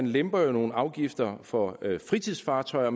lemper nogle afgifter for fritidsfartøjer